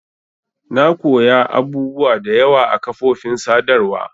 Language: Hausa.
Na koya abubuwa da yawa a kafofin sadarwa.